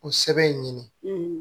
O sɛbɛn in ɲini